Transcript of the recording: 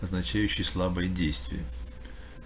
означающий слабые действия